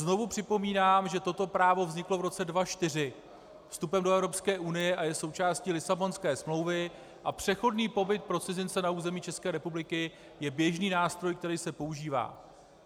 Znovu připomínám, že toto právo vzniklo v roce 2004 vstupem do Evropské unie a je součástí Lisabonské smlouvy a přechodný pobyt pro cizince na území České republiky je běžný nástroj, který se používá.